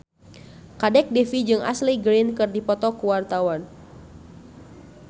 Kadek Devi jeung Ashley Greene keur dipoto ku wartawan